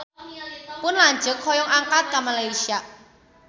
Pun lanceuk hoyong angkat ka Malaysia